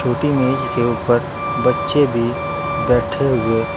मेज के ऊपर बच्चे भी बैठे हुए--